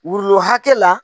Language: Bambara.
Wurulo hakɛ la